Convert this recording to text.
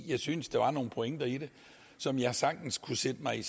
jeg syntes der var nogle pointer i det som jeg sagtens kunne sætte mig